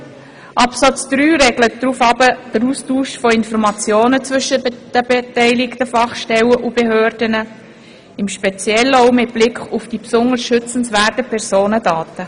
Absatz 3 regelt den Austausch von Informationen zwischen den beteiligten Fachstellen und Behörden, im Speziellen auch mit Blick auf die besonders schützenswerten Personendaten.